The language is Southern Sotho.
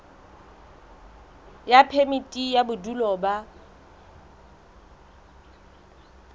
ya phemiti ya bodulo ba